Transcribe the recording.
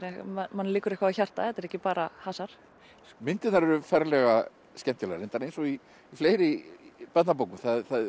manni liggur eitthvað á hjarta þetta er ekki bara hasar myndirnar eru ferlega skemmtilegar reyndar eins og í fleiri barnabókum